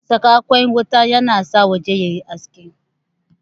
Saka ƙwan wuta yana sa waje yayi haske